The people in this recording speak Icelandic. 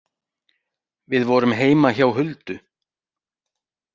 Við vorum heima hjá Huldu.